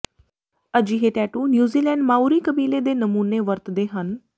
ਅਜਿਹੇ tattoo New Zealand Maori ਕਬੀਲੇ ਦੇ ਨਮੂਨੇ ਵਰਤਦੇ ਹਨ